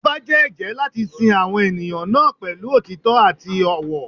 Ọba jẹ́ ẹ̀jẹ́ láti sin àwọn ènìyàn náà pẹ̀lú òtítọ́ àti ọ̀wọ̀.